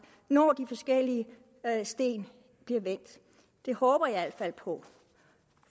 når de forskellige sten bliver vendt det håber jeg i hvert fald på